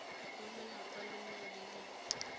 go lelapa lengwe le lengwe